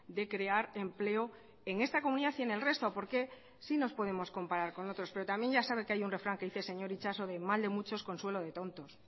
de crear empleo en esta comunidad y en el resto porque sí nos podemos comparar con otros pero también ya sabe que hay un refrán que dice señor itxaso de mal de muchos consuelo de tontos